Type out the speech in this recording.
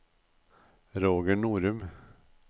Roger Norum